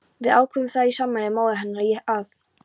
Við ákváðum það í sameiningu, móðir hennar og ég, að